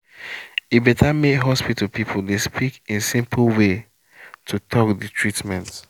e better may hospital people dey speak in simple way to talk the treatment